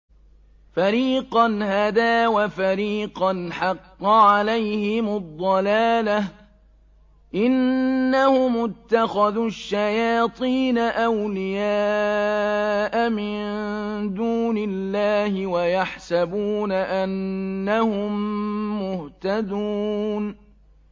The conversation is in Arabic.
فَرِيقًا هَدَىٰ وَفَرِيقًا حَقَّ عَلَيْهِمُ الضَّلَالَةُ ۗ إِنَّهُمُ اتَّخَذُوا الشَّيَاطِينَ أَوْلِيَاءَ مِن دُونِ اللَّهِ وَيَحْسَبُونَ أَنَّهُم مُّهْتَدُونَ